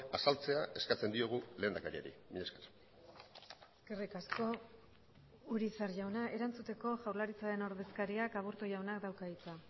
azaltzea eskatzen diogu lehendakariari mila esker eskerrik asko urizar jauna erantzuteko jaurlaritzaren ordezkariak aburto jaunak dauka hitza